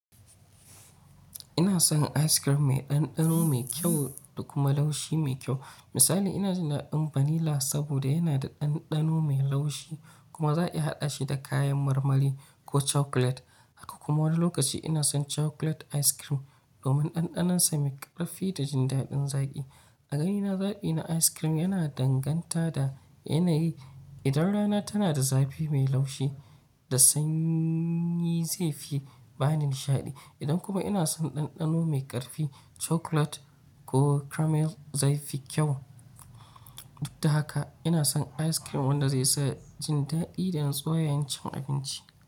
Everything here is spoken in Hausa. Ina son ice cream mai ɗanɗano mai kyau da kuma laushi mai kyau. Misali, ina jin daɗin vanilla saboda yana da ɗanɗano mai laushi kuma za a iya haɗa shi da kayan marmari ko chocolate. Haka kuma, wani lokaci ina son chocolate ice cream domin ɗanɗanonsa mai ƙarfi da jin daɗin zaƙi. A ganina, zaɓi na ice cream yana danganta da yanayi. Idan rana tana da zafi mai laushi, da sanyi zai fi bani nishaɗi. Idan kuma ina son ɗanɗano mai ƙarfi, chocolate ko caramel zai fi kyau. Dudda haka, ina son ice cream wanda zai sa jin daɗi don soyayen cin abinci.